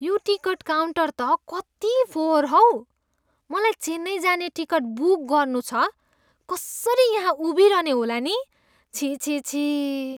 यो ticket counter त कति फोहोर हौ! मलाई चेन्नई जाने टिकट बुक गर्नू छ, कसरी यहाँ उभिरहने होला नि! छिः छिः छिः!